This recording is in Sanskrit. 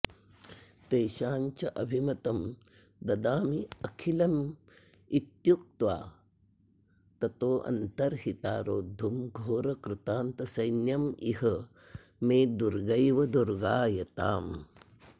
तेषां चाभिमतं ददाम्यखिलमित्युक्त्वा ततोऽन्तर्हिता रोद्धुं घोरकृतान्तसैन्यमिह मे दुर्गैव दुर्गायताम्